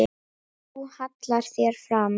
Þú hallar þér fram.